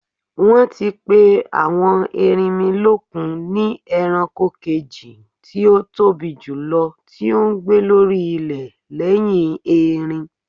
Wọ́n ti pè àwọn erinmilókun ni ẹranko kejì tí ótóbi jùlọ tí ó ń gbé lórí ilẹ̀ lẹ́yìn erin.